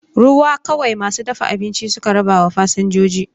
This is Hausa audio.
Ruwa kawai masu dafa abinci suka rabawa fasinjoji.